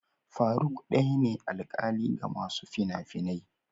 Faruk daya ne alƙali ga masu fina-finia.